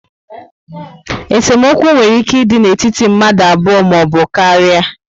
Esemokwu nwere ike ịdị n'etiti mmadụ abụọ maọbụ karia